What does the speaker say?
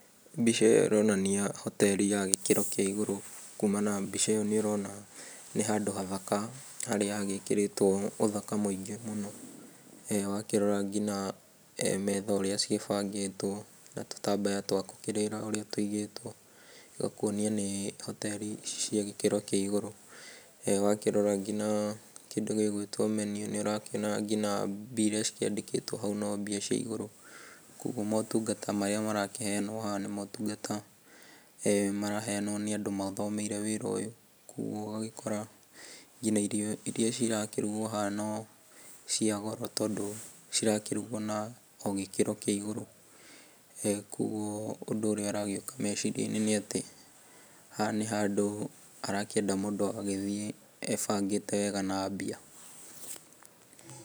Mbica ĩyo ĩronania hoteri ya gĩkĩro kĩa igũrũ. Kumana na mbica ĩyo nĩũrona nĩ handũ hathaka harĩa hagĩkĩrĩtwo ũthaka mũingĩ mũno. Wakĩrora nginya metha ũrĩa cigĩbangĩtwo na tũtambaya twa gũkĩrĩra ũrĩa tũigĩtwo igakuonia nĩ hoteri cia gĩkĩro kĩa igũrũ. Wakĩrora ngina kĩndũ gĩgwĩtwo ngina menu nĩũrakĩona mbia iria cikĩandĩkĩtwo hau no mbia cia igũrũ, koguo motungata marĩa maraheyanwo haha nĩ motungata maraheyanwo nĩ andũ mathomeire wĩra ũyũ. Koguo ũgagĩkora ngina irio iria irakĩrugwo haha no cia goro tondũ cirakĩrugwo na o gĩkĩro kĩa igũrũ. Koguo ũndũ ũrĩa ũragĩũka meciria-inĩ nĩ atĩ haha nĩ handũ harakĩenda mũndũ agagĩthiĩ ebangĩte wega na mbia.